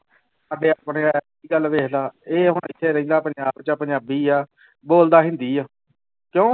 ਗੱਲ ਵੇਖਦਾਂ ਇਹ ਹੁਣ ਇੱਥੇ ਰਹਿੰਦਾ ਪੰਜਾਬ ਚ ਪੰਜਾਬੀ ਆ ਬੋਲਦਾ ਹਿੰਦੀ ਆ, ਕਿਉਂ?